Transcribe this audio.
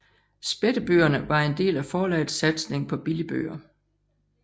Spættebøgerne var en del af forlagets satsning på billigbøger